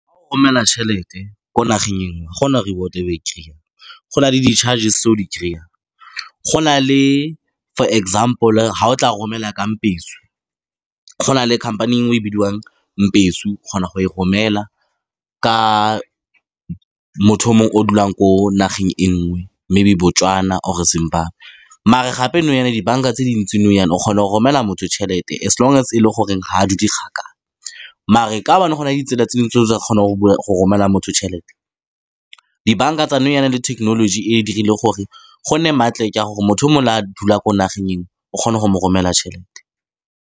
Fa o romela tšhelete ko nageng e nngwe, go na le reward-e e o e kry-iyang. Go na le di-charges-e tse o di kry-ang go na le, for example, fa o tla romela ka Mpesu. Go na le khamphane engwe e bidiwang Mpesu, o kgona go e romela ka motho o monwe o dulang ko nageng e nngwe, maybe Botswana or-e Zimbabwe, mare gape nou jaana dibanka tse dintsi nou jaana o kgona go romelela motho tšhelete, as long as e le gore, ga a dule kgakala, mare ka gobane go na le ditsela tse dingwe tse o tla kgonang go go romelela motho tšhelete. Dibanka tsa nou jaana le thekenoloji e dirile gore gonne maklik ya gore motho o mongwe le fa a dula ko nageng enngwe, o kgone go mo romelela tšhelete.